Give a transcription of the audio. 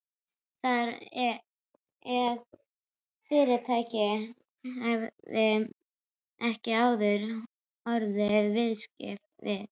Þar eð fyrirtækið hefði ekki áður orðið viðskipta við